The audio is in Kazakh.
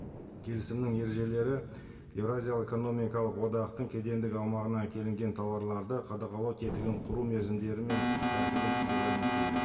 келісімнің ережелері еуразиялық экономикалық одақтың кедендік аумағына әкелінген тауарларды қадағалау тетігін құру мерзімдері мен тәртібін регламенттейді